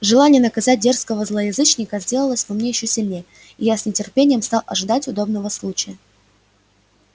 желание наказать дерзкого злоязычника сделалось во мне ещё сильнее и я с нетерпением стал ожидать удобного случая